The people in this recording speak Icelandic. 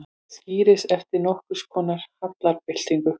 Skírnis eftir nokkurskonar hallarbyltingu.